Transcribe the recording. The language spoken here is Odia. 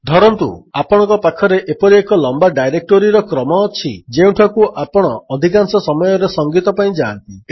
ଧରନ୍ତୁ ଆପଣଙ୍କ ପାଖରେ ଏପରି ଏକ ଲମ୍ୱା ଡାଇରେକ୍ଟୋରୀର କ୍ରମ ଅଛି ଯେଉଁଠାକୁ ଆପଣ ଅଧିକାଂଶ ସମୟରେ ସଂଗୀତ ପାଇଁ ଯାଆନ୍ତି